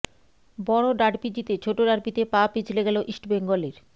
বড় ডার্বি জিতে ছোট ডার্বিতে পা পিছলে গেল ইস্টবেঙ্গলের